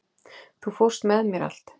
Þú fórst með mér allt.